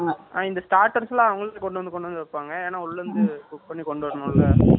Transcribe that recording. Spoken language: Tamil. இந்த starters எல்லாம், அவங்களே கொண்டு வந்து, கொண்டு வந்து வைப்பாங்க. ஏன்னா, உள்ளே இருந்து, cook பண்ணி கொண்டு வரணும்ல